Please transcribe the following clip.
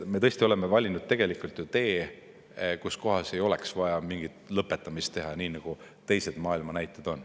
Me tõesti oleme valinud sellise tee, kus ei oleks vaja mingit lõpetamist teha, nii nagu maailma teiste riikide näited on.